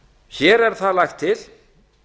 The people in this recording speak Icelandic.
hér er það lagt til